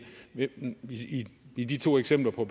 i de to eksempler på